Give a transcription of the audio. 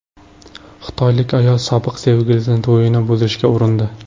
Xitoylik ayol sobiq sevgilisining to‘yini buzishga urindi .